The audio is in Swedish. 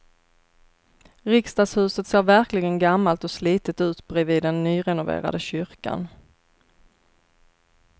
Riksdagshuset ser verkligen gammalt och slitet ut bredvid den nyrenoverade kyrkan.